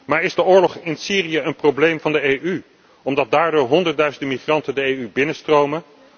Maar is de oorlog in Syrië een probleem van de EU, omdat daardoor honderdduizenden migranten de EU binnenstromen?